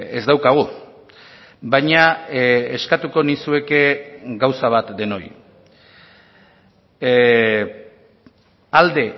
ez daukagu baina eskatuko nizueke gauza bat denoi alde